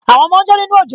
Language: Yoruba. Àwọn ọmọ ń jó nínú òjò